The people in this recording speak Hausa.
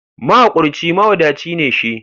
Mahaƙurci mawadaci ne shi.